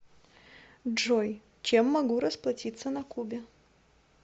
джой чем могу расплатиться на кубе